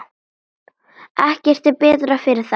Ekkert er betra fyrir þær.